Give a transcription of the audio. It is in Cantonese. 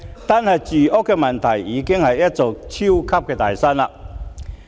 單是住屋問題，已經是一座"超級大山"。